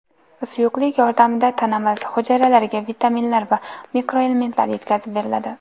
Suyuqlik yordamida tanamiz hujayralariga vitaminlar va mikroelementlar yetkazib beriladi.